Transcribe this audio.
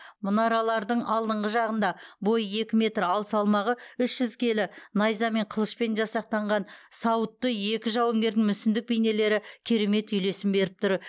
мұнаралардың алдыңғы жағында бойы екі метр ал салмағы үш жүз келі найза мен қылышпен жасақтанған сауытты екі жауынгердің мүсіндік бейнелері керемет үйлесім беріп тұр